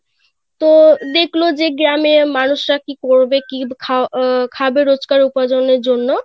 তো দেখলো যে গ্রামের মানুষ রা কি করবে কি খা~ আহ খাবে রোজকার উপার্জনের জন্য;